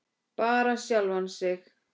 Bara sjálfan sig.